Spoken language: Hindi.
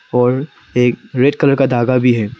और एक रेड कलर का धागा भी है।